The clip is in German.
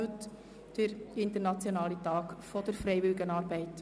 Heute ist also der internationale Tag der Freiwilligenarbeit.